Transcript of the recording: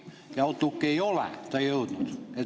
Ja Outlooki ei ole ta jõudnud.